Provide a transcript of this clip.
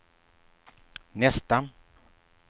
nästa